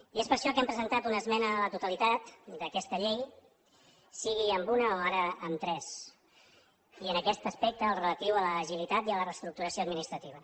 i és per això que hem presentat una esmena a la totalitat d’aquesta llei sigui una o ara tres i en aquest aspecte el relatiu a l’agilitat i a la reestructuració administrativa